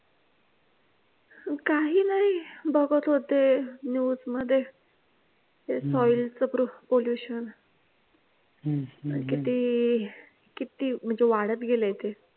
काही नाही बघत होते news मध्ये ते soil च proof pollution किती किती म्हणजे वाढत गेलय ते